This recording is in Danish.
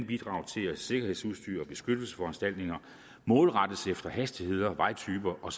bidrage til at sikkerhedsudstyr og beskyttelsesforanstaltninger målrettes efter hastigheder vejtyper og